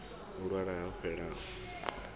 a lwala a holefhala a